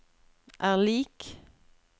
er lik